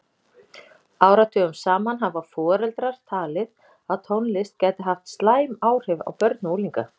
Áratugum saman hafa foreldrar talið að tónlist gæti haft slæm áhrif á börn og unglinga.